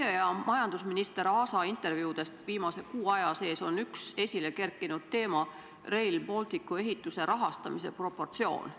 Teie ja majandusminister Taavi Aasa intervjuudes on viimase kuu aja sees ühe teemana esile kerkinud Rail Balticu ehituse rahastamise proportsioon.